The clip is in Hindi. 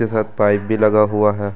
के साथ पाइप भी लगा हुआ है।